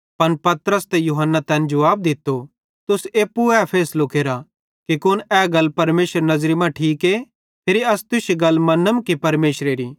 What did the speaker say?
पन पतरस ते यूहन्ना तैन जुवाब दित्तो तुस एप्पू ए फैसलो केरा कि कुन ए गल परमेशरेरी नज़री मां ठीके फिरी अस तुश्शी गल मन्नम कि परमेशरेरी